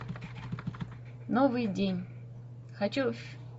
новый день хочу